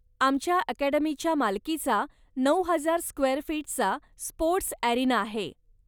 आमच्या अकॅडमीच्या मालकीचा नऊ हजार स्क्वेअर फीटचा स्पोर्टस् अॅरीना आहे.